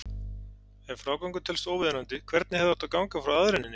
Ef frágangur telst óviðunandi, hvernig hefði átt að ganga frá aðreininni?